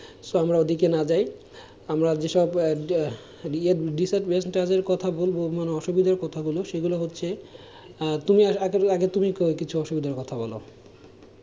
আমরা ওদিকে না যাই, আমরা যেসব কথা বলবো মানে অসুবিধার কথা গুলো, সেগুলো হচ্ছে আহ তুমি আগে তুমি কিছু অসুবিধার কথা বোলো,